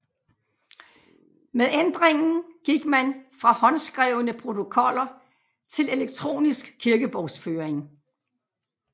Med ændringen gik man fra håndskrevne protokoller til elektronisk kirkebogsføring